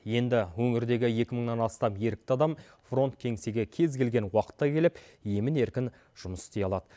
енді өңірдегі екі мыңнан астам ерікті адам фронт кеңсеге кез келген уақытта келіп емін еркін жұмыс істей алады